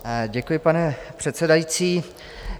Děkuji, pane předsedající.